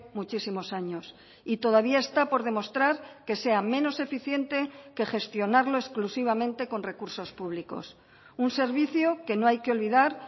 muchísimos años y todavía está por demostrar que sea menos eficiente que gestionarlo exclusivamente con recursos públicos un servicio que no hay que olvidar